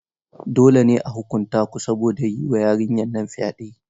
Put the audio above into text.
Dole ne a huƙunta ku saboda yi wa yarinyar nan fyaɗe.